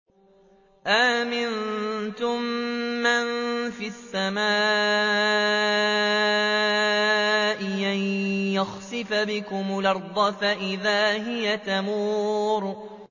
أَأَمِنتُم مَّن فِي السَّمَاءِ أَن يَخْسِفَ بِكُمُ الْأَرْضَ فَإِذَا هِيَ تَمُورُ